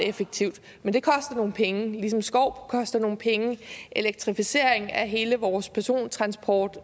effektivt men det koster nogle penge ligesom skov koster nogle penge og elektrificering af hele vores persontransport